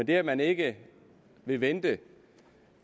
det at man ikke vil vente et